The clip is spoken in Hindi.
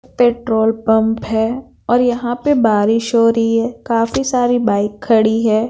पेट्रोल पंप हैं और यहाँ पे बारिश हो रही हैं काफी सारी बाइक खड़ी हैं।